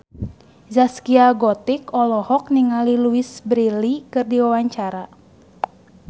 Zaskia Gotik olohok ningali Louise Brealey keur diwawancara